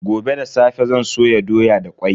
Gobe da safe zan soya doya da kwai.